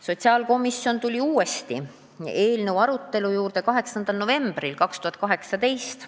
Sotsiaalkomisjon tuli uuesti eelnõu arutelu juurde 8. novembril 2018.